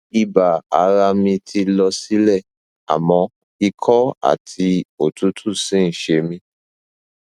ibà ara mi ti lọ sílẹ àmọ ikọ àti òtútù ṣì ń ṣe mí